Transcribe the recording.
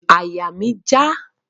Àyà mi n já